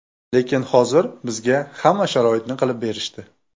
Lekin hozir bizga hamma sharoitni qilib berishdi.